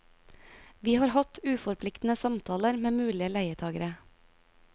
Vi har hatt uforpliktende samtaler med mulige leietagere.